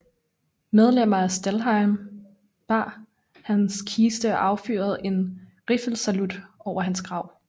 Medlemmer af Stahlhelm bar hans kiste og affyrede en riffelsalut over hans grav